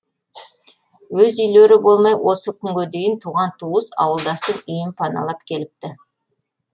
өз үйлері болмай осы күнге дейін туған туыс ауылдастың үйін паналап келіпті